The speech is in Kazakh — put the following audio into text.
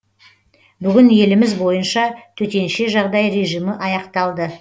бүгін еліміз бойынша төтенше жағдай режимі аяқталды